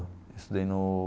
Estudei no...